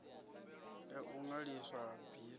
ya u ṅwaliswa ha bindu